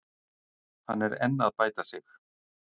Hann er enn að bæta sig.